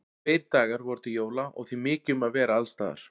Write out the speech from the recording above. Tveir dagar voru til jóla og því mikið um að vera alls staðar.